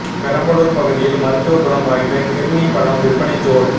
பெரம்பலூர் பகுதியில் மருத்துவ குணம் வாய்ந்த கிர்னி பழம் விற்பனை ஜோர்